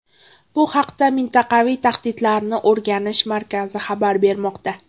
Bu haqda Mintaqaviy tahdidlarni o‘rganish markazi xabar bermoqda .